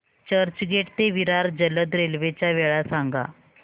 चर्चगेट ते विरार जलद रेल्वे च्या वेळा सांगा